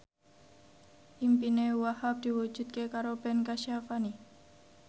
impine Wahhab diwujudke karo Ben Kasyafani